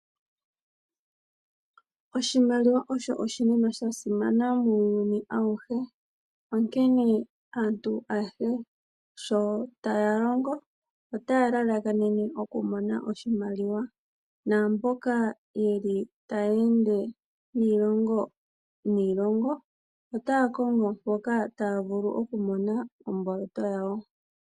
Oshimaliwa osho oshinima sha simana muuyuni awuhe, onkene aantu ayehe sho taya longo otaya lalakanene okumona oshimaliwa naamboka ye li taya ende niilongo niilongo otaya kongo mpoka taya vulu okumona omboloto yawo.